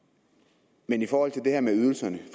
men i forhold til det her med ydelserne